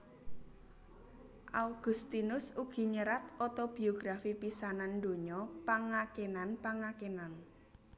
Augustinus ugi nyerat otobiografi pisanan donya Pangakenan pangakenan